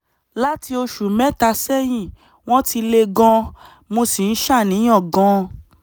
láti oṣù mẹ́ta sẹ́yìn wọ́n ti le gan-an mo sì ń ṣàníyàn gan-an